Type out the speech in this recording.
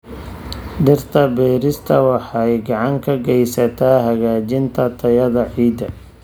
Dhirta beerista waxay gacan ka geysataa hagaajinta tayada ciidda.